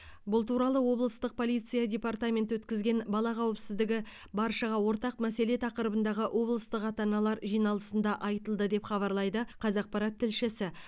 бұл туралы облыстық полиция департаменті өткізген бала қауіпсіздігі баршаға ортақ мәселе тақырыбындағы облыстық ата аналар жиналысында айтылды деп хабарлайды қазақпарат тілшісі